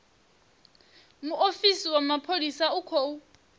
muofisi wa mapholisa u khou